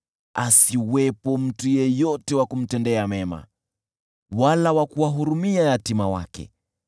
Asiwepo mtu yeyote wa kumtendea mema wala wa kuwahurumia yatima wake.